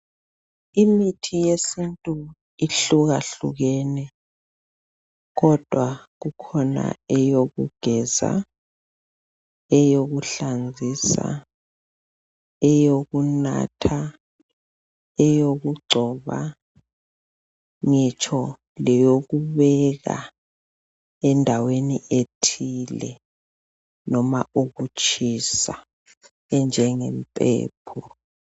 Imithi yesintu ehlukahlukene kodwa kukhona eyokugeza , eyokuhlanzisa, eyokunatha, eyokugcoba, ngitsho leyokubeka endaweni ethile noma ukutshisa enjenge mpepho.